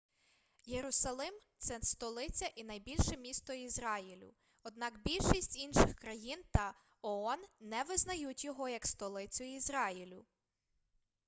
єрусалим це столиця і найбільше місто ізраїлю однак більшість інших країн та оон не визнають його як столицю ізраїлю